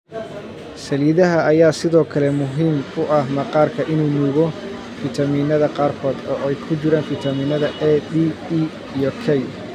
Saliidaha ayaa sidoo kale muhiim u ah maqaarka inuu nuugo fiitamiinnada qaarkood, oo ay ku jiraan fiitamiinada A, D, E iyo K.